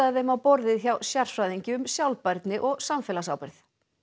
þeim á borðið hjá sérfræðingi um sjálfbærni og samfélagsábyrgð